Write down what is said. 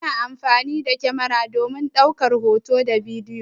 Ana amfani da kyamara domin ɗaukar hoto da bidiyo.